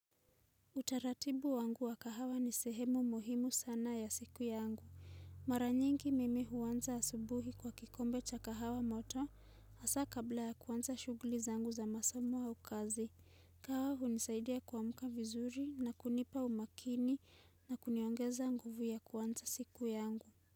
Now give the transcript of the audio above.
Utaratibu wangu wa kahawa ni sehemu muhimu sana ya siku ya angu. Mara nyingi mimi huanza asubuhi kwa kikombe cha kahawa moto, hasa kabla ya kuwanza shuguli zangu za masamo au kazi. Kahawa hunisaidia kuamuka vizuri na kunipa umakini na kuniongeza nguvu ya kuwanza siku ya angu.